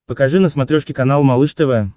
покажи на смотрешке канал малыш тв